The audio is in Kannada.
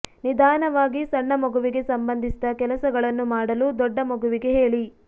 ನಿಧಾನವಾಗಿ ಸಣ್ಣ ಮಗುವಿಗೆ ಸಂಬಂಧಿಸಿದ ಕೆಲಸಗಳನ್ನು ಮಾಡಲು ದೊಡ್ಡ ಮಗುವಿಗೆ ಹೇಳಿ